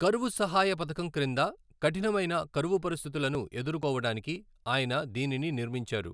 కరువు సహాయ పథకం క్రింద కఠినమైన కరువు పరిస్థితులను ఎదుర్కోవడానికి ఆయన దీనిని నిర్మించారు.